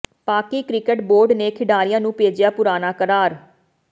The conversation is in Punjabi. ਪਾਕਿ ਕ੍ਰਿਕਟ ਬੋਰਡ ਨੇ ਖਿਡਾਰੀਆਂ ਨੂੰ ਭੇਜਿਆ ਪੁਰਾਣਾ ਕਰਾਰ